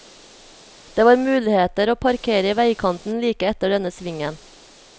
Det var muligheter å parkere i vegkanten like etter denne svingen.